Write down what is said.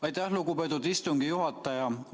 Aitäh, lugupeetud istungi juhataja!